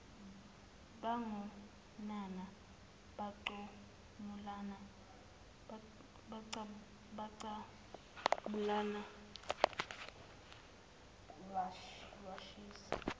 bagonana baqabulana lwashisa